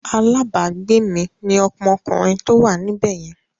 Alabagbe mi ni ọmọkùnrin tó wà níbẹ̀ yẹn.